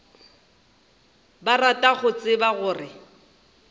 ba rata go tseba gore